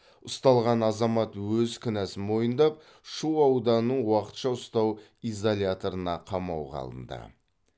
ұсталған азамат өз кінәсін мойындап шу ауданының уақытша ұстау изоляторына қамауға алынды